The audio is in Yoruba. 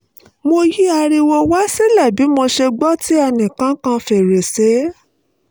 mo yí ariwo wá sílè bí mo ṣe gbọ́ tí ẹnì kan kan fèrèsé